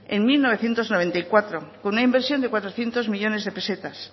en mil novecientos noventa y cuatro con una inversión de cuatrocientos millónes de pesetas